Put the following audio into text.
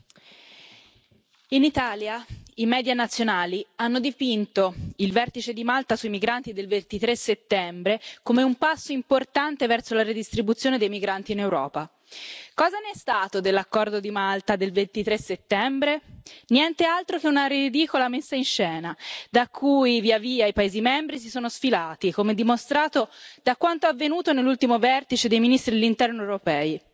Signor Presidente, onorevoli colleghi, in Italia i media nazionali hanno dipinto il vertice di Malta sui migranti del 23 settembre come un passo importante verso la redistribuzione dei migranti in Europa. Cosa ne è stato dell'accordo di Malta del 23 settembre? Niente altro che una ridicola messa in scena da cui via via i paesi membri si sono sfilati, come dimostrato da quanto avvenuto nell'ultimo vertice dei ministri dell'Interno europei.